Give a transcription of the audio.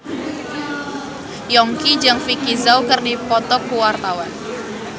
Yongki jeung Vicki Zao keur dipoto ku wartawan